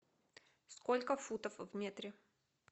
сколько футов в метре